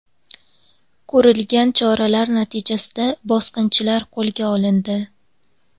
Ko‘rilgan choralar natijasida bosqinchilar qo‘lga olindi.